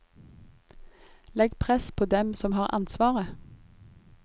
Legg press på dem som har ansvaret.